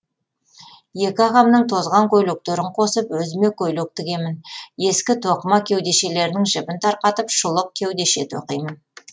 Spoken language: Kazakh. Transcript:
екі ағамның тозған көйлектерін қосып өзіме көйлек тігемін ескі тоқыма кеудешелерінің жібін тарқатып шұлық кеудеше тоқимын